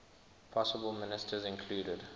possible ministers included